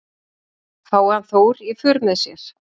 Fái hann Þór í för með sér